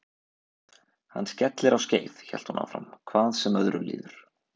Hann skellir á skeið hélt hún áfram, hvað sem öðru líður.